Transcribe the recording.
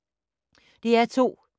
DR2